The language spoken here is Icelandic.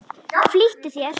Flýttu þér.